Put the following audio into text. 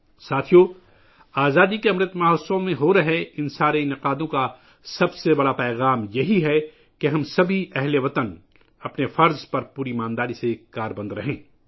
ساتھیو ، آزادی کے نام پر منعقد ہونے والی ان تمام تقریبات کا سب سے بڑا پیغام یہ ہے کہ ہم تمام اہل وطن اپنی ذمہ داری پوری لگن کے ساتھ ادا کریں